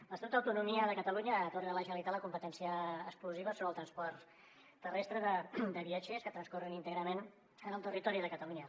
l’estatut d’autonomia de catalunya atorga a la generalitat la competència exclusiva sobre el transport terrestre de viatgers que transcorre íntegrament en el territori de catalunya